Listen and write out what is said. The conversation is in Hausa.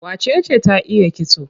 Wacece ta iya kitso?